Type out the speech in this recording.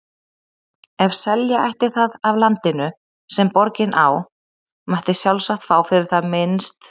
Ef selja ætti það af landinu, sem borgin á, mætti sjálfsagt fá fyrir það minnst